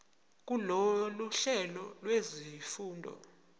kulolu hlelo lwezifundo